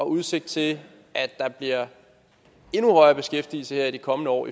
udsigt til at der bliver endnu højere beskæftigelse her i de kommende år